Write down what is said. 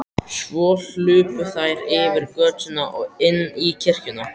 Svo hlupu þær yfir götuna og inn í kirkjuna.